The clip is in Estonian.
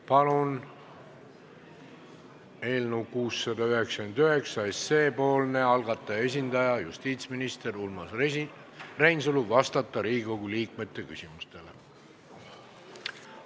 Palun teid, eelnõu 699 algataja esindaja justiitsminister Urmas Reinsalu, vastata Riigikogu liikmete küsimustele!